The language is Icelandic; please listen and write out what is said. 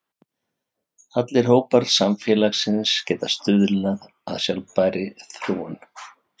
Allir hópar samfélagsins geta stuðlað að sjálfbærri þróun.